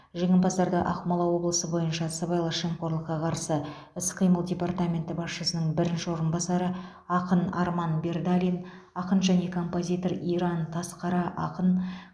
жеңімпаздарды ақмола облысы бойынша сыбайлас жемқорлыққа қарсы іс қимыл департаменті басшысының бірінші орынбасары ақын арман бердалин ақын және композитор иран тасқара ақын